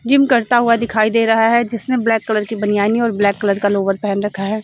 Gym करता हुआ दिखाई दे रहा है जिसने ब्लैक कलर की बनियानी और ब्लैक कलर का लोवर पेहन रखा है।